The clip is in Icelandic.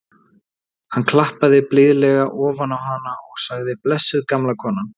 Hann klappaði blíðlega ofan á hana og sagði: blessuð gamla konan.